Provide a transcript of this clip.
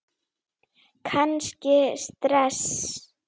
Kannski stress?